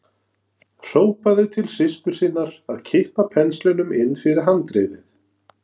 Hrópaði til systur sinnar að kippa penslinum inn fyrir handriðið.